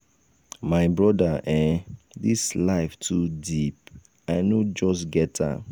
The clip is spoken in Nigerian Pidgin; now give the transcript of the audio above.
my brother um dis life um too deep i no just get am.